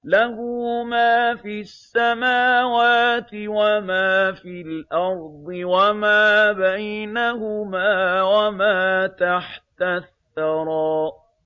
لَهُ مَا فِي السَّمَاوَاتِ وَمَا فِي الْأَرْضِ وَمَا بَيْنَهُمَا وَمَا تَحْتَ الثَّرَىٰ